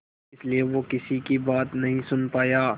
इसलिए वो किसी की भी बात नहीं सुन पाया